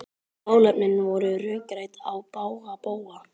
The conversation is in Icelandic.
Málefnin voru rökrædd á bága bóga.